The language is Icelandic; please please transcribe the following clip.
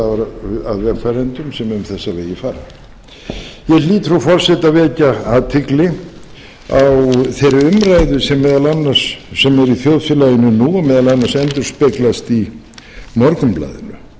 stafar af vegfarendum sem um þessa vegi fara ég hlýt frú forseta að vekja athygli á þeirri umræðu sem meðal annars er í þjóðfélaginu nú og meðal annars endurspeglast í morgunblaðinu ég sé í morgunblaðinu í dag á